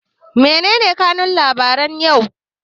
Mene ne kanun labaran yau?